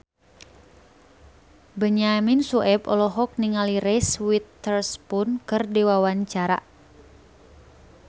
Benyamin Sueb olohok ningali Reese Witherspoon keur diwawancara